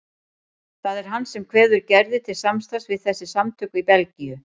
Það er hann sem kveður Gerði til samstarfs við þessi samtök í Belgíu.